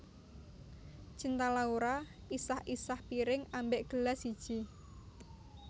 Cinta Laura isah isah piring ambek gelas siji